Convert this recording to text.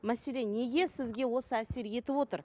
мәселе неге сізге осы әсер етіп отыр